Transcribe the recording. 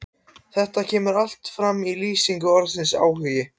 Þetta kemur allt fram í lýsingu orðsins áhugi: